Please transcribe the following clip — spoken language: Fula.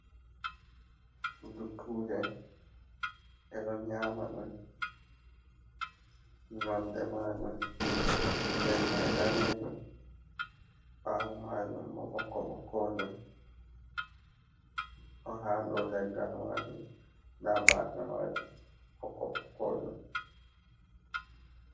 Dukkuje: Ɓe do nyama ɗum, nonde majum nder mai danejum, ɓawo majum bo ɓokko-ɓokko jum. Ɗo ha dou leggal majum. Nda bafe majum ɓokko-ɓokkojum.